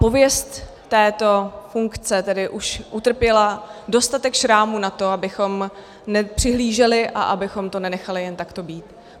Pověst této funkce tedy už utrpěla dostatek šrámů na to, abychom nepřihlíželi a abychom to nenechali jen takto být.